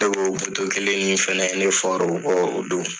E ko o kelen nin fɛnɛ ne fɔr'o kɔ o don.